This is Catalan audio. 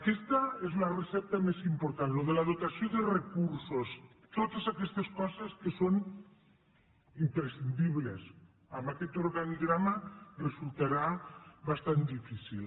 aquesta és la recepta més important això de la dotació de recursos totes aquestes coses que són imprescindibles amb aquest organigrama resultarà bastant difícil